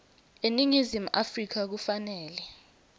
eningizimu afrika kufanele